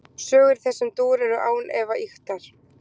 Sögur í þessum dúr eru án efa ýktar.